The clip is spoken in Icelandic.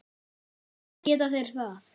Róbert: Geta þeir það?